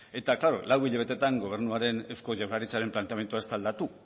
eta claro lau hilabetetan gobernuaren eusko jaurlaritzaren planteamendua ez da aldatu